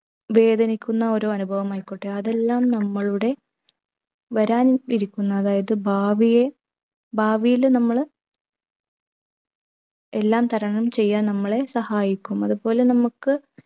വേദനിക്കുന്ന ഓരോ അനുഭവമായിക്കോട്ടെ അതെല്ലാം നമ്മളുടെ വരാൻ ഇരിക്കുന്ന അതായത് ഭാവിയെ ഭാവിയിലെ നമ്മള് എല്ലാം തരണം ചെയ്യാൻ നമ്മളെ സഹയിക്കും അത്പോലെ നമ്മക്ക്